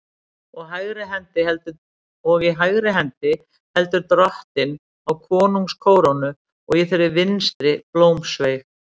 Og í hægri hendi heldur Drottinn á konungskórónu og í þeirri vinstri blómsveig.